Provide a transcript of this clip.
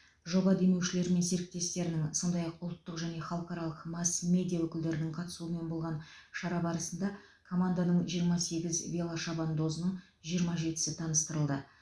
жоба демеушілері мен серіктестерінің сондай ақ ұлттық және халықаралық масс медиа өкілдерінің қатысуымен болған шара барысында команданың жиырма сегіз велошабандозының жиырма жетісі таныстырылды